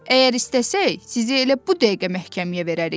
Əgər istəsək, sizi elə bu dəqiqə məhkəməyə verərik.